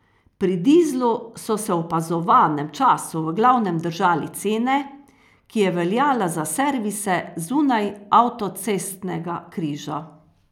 Pri dizlu so se v opazovanem času v glavnem držali cene, ki je veljala za servise zunaj avtocestnega križa.